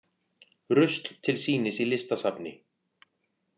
Rusl til sýnis í listasafni